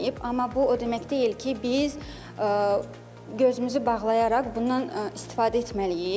Amma bu o demək deyil ki, biz gözümüzü bağlayaraq bundan istifadə etməliyik.